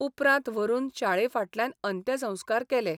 उपरांत व्हरून शाळेफाटल्यान अंत्यसंस्कार केले.